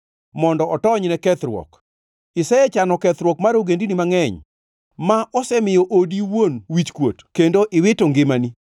Isechano kethruok mar ogendini mangʼeny, ma osemiyo odi owuon wichkuot kendo iwito ngimani.